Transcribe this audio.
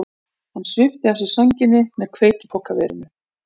Hann svipti af sér sænginni með hveitipokaverinu.